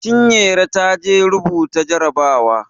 Chinyere ta je rubuta jarabawa.